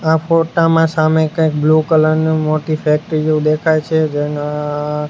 આ ફોટા મા સામે કઇ બ્લુ કલર નુ મોટી ફેક્ટરી જેવુ દેખાય છે જેના --